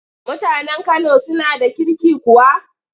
Mutanen Kano suna da kirki kuwa?